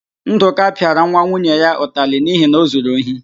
Ndụka pịara nwa nwunye ya ụtarị n'ihi na o zuru ohi.